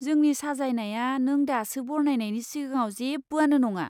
जोंनि साजायनाया नों दासो बरनायनायनि सिगाङाव जेबोआनो नङा।